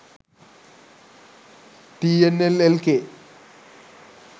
tnl lk